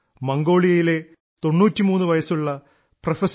മംഗോളിയയിലെ 93 വയസ്സുള്ള പ്രൊഫ